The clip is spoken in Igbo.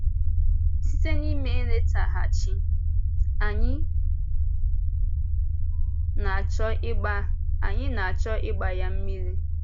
Site n’ime nlétàghàchí, anyị na-achọ ịgba anyị na-achọ ịgba ya mmiri.